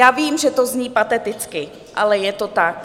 Já vím, že to zní pateticky, ale je to tak.